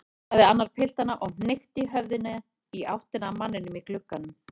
sagði annar piltanna og hnykkti höfðinu í áttina að manninum í glugganum.